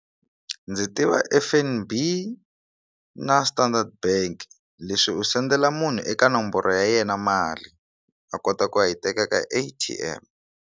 Ndzi tiva F_N_B na Standard bank leswi u sendela munhu eka nomboro ya yena mali a kota ku ya yi teka ka A_T_M.